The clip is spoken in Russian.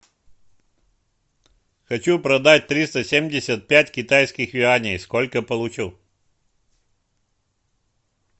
хочу продать триста семьдесят пять китайских юаней сколько получу